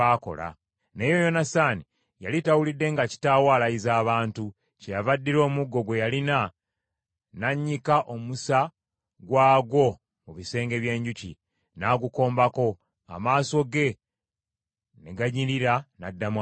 Naye Yonasaani yali tawulidde nga kitaawe alayiza abantu, kyeyava addira omuggo gwe yalina n’annyika omusa gwagwo mu bisenge by’enjuki, n’agukombako, amaaso ge ne ganyirira n’addamu amaanyi.